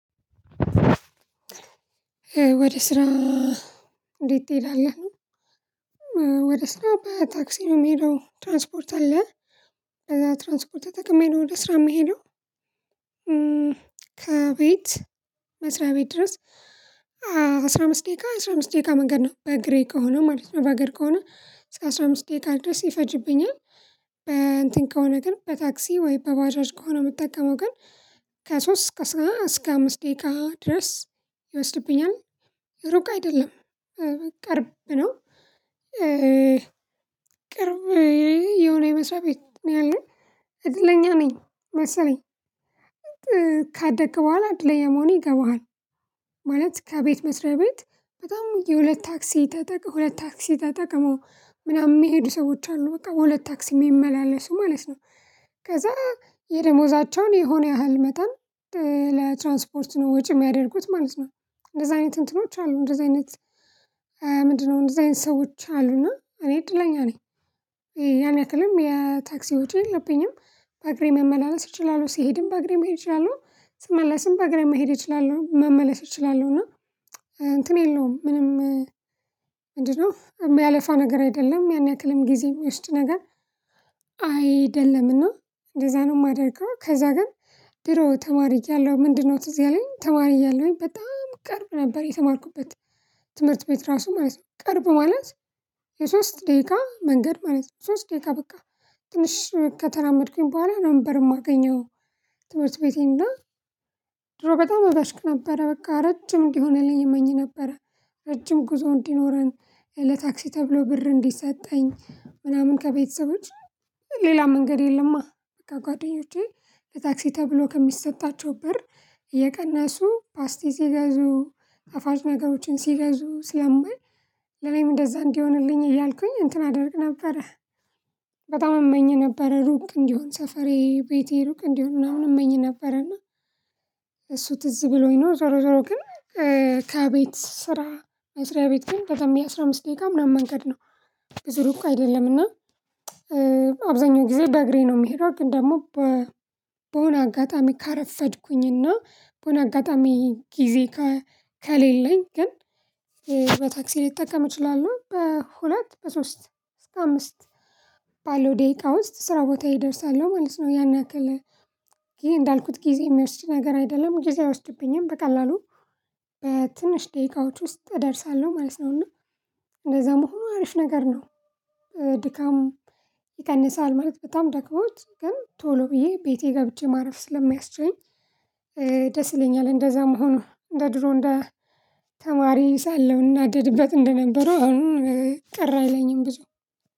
ወደ ስራ እንዴት ትሄዳለህ? ወደ ስራ በታክሲ ነው የምሄደው። ትራንስፖርት አለ በዛ ትራንስፖርት ተጠቅሜ ነው ወደ ስራ የምሄደው። ከቤት መስሪያ ቤት ድረስ። አስራ አምስት ደቂቃ የ አስራ አምስት ደቂቃ መንገድ ነው በግሬ ከሆነ ማለት ነው በእግር ከሆነ እስከ አስራ አምስት ደቂቃ ድረስ ይፈጅብኛል። በ እንትን ከሆነ ግን በታክሲ ወይ በባጃጅ ከሆነ የምጠቀመው ግን ከሶስት እስከ እስከ አምስት ደቂቃ ድረስ ይወስድብኛል። ሩቅ አይደለም። ቅርብ ነው። ቅርብ የሆነ የመስሪያ ቤት ነው ያለኝ እድለኛ ነኝ። መሰለኝ ካደግክ በኋላ አድለኛ መሆኔ ይገባሃል። ማለት ከቤት መስሪያ ቤት በጣም የሁለት ታክሲ ተጠቅመው ሁለት ታክሲ ተጠቅመው ምናምን የሚሄዱ ሰዎች አሉ በቃ በሁለት ታክሲ የሚመላለሱ ማለት ነው። ከዛ የደሞዛቸውን የሆነ ያህል መጠን ለትራንስፖርት ነው ወጪ የሚያደርጉት ማለት ነው። እንደዛ አይነት እንትኖች አሉ እንደዛ አይነት? ምንድነው እንደዛ አይነት ሰዎች አሉና እኔ እድለኛ ነኝ። ያን ያክልም የታክሲ ወጪ የለብኝም። በአግሬ መመላለስ እችላለሁ ስሄድም በአግሬ መሄድ እችላለሁ ስመለስም በአግሬም መሄድ እችላለሁ መመለስ እችላለሁ። እና እንትን የለውም። ምንም ምንድነው የሚያለፋ ነገር አይደለም። ያን ያክልም ጊዜ የሚወስድ ነገር አይደለምና። እንደዛ ነው የማደርገው ከዛ ግን ድሮ ተማሪ እያለሁ ምንድነው ትዝ ያለኝ ተማሪ እያለሁኝ በጣም ቅርብ ነበር የተማርኩበት። ትምህርት ቤት ራሱ ማለት ነው። ቅርብ ማለት የሶስት ደቂቃ መንገድ ማለት ነው። ሶስት ደቂቃ በቃ ትንሽ ከተራመድኩኝ በኋላ ነበር የማገኘው። ትምህርት ቤቴን እና። ድሮ በጣም እበሽቅ ነበረ በቃ ረጅም እንዲሆንልኝ እመኝ ነበረ። ረጅም ጉዞ እንዲኖረኝ ለታክሲ ተብሎ ብር እንዲሰጠኝ ምናምን ከቤተሰቦች ሌላ መንገድ የለማ። በቃ ጓደኞቼ ለታክሲ ተብሎ ከሚሰጣቸው ብር እየቀነሱ ፓስቲ ሲገዙ ጣፋጭ ነገሮችን ሲገዙ ስለማይ። ለኔም እንደዛ እንዲሆንልኝ እያልኩኝ እንትን አደርግ ነበረ። በጣም እመኝ ነበረ ሩቅ እንዲሆን ሰፈሬ ቤቴ ሩቅ እንዲሆን ምናምን እመኝ ነበረ። ነበረና እሱ ትዝ ብሎኝ ነው ዞሮ ዞሮ ግን። ከቤት ስራ መስሪያ ቤት ግን በጣም የ አስራ አምስት ደቂቃ ምናምን መንገድ ነው። ብዙ ሩቅ አይደለም እና። አብዛኛው ጊዜ በእግሬ ነው የምሄደው ግን ደግሞ። በሆነ አጋጣሚ ካረፈድኩኝ እና በሆነ አጋጣሚ ጊዜ ከሌለኝ ግን። በታክሲ ልጠቀም አችላለሁ በሁለት በሶስት እስከ አምስት ባለው ደቂቃ ውስጥ ስራ ቦታዬ እደርሳለሁ ማለት ነው። ያን ያክል። ይሄ እንዳልኩት ጊዜ የሚወስጅ ነገር አይደለም። ጊዜ አይወስድብኝም በቀላሉ በትንሽ ደቂቃዎች ውስጥ እደርሳለሁ ማለት ነው። እና እንደዛ መሆኑ አሪፍ ነገር ነው። ድካም ይቀንሳል ማለት በጣም ደክሞት ግን ቶሎ ብዬ ቤቴ ገብቼ ማረፍ ስለሚያስችለኝ። ደስ ይለኛል። እንደዛ መሆኑ እንደ ድሮ እንደ ተማሪ ሳለሁኝ እናደድበት እንደነበረው አሁን ቅር አይለኝም ብዙ።